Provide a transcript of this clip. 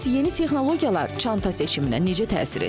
Bəs yeni texnologiyalar çanta seçiminə necə təsir edir?